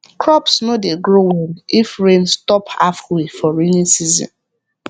crops no dey grow well if rain stop halfway for rainy season